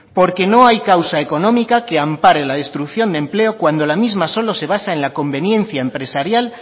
porque no hay causa económica que ampare la destrucción de empleo cuando la misma solo se basa en la conveniencia empresarial